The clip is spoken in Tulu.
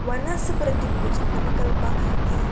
ವನಸ್ ಪೂರ ತಿಕ್ಕುಜಿ ನಮಕ್ ಅಲ್ಪ ಈ --